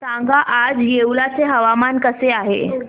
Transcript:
सांगा आज येवला चे हवामान कसे आहे